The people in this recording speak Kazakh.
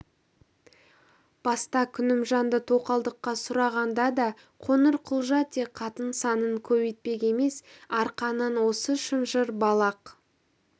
баста күнімжанды тоқалдыққа сұрағанда да қоңырқұлжа тек қатын санын көбейтпек емес арқаның осы шынжыр балақ